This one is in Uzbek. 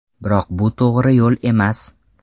Biroq bu to‘g‘ri yo‘l emas.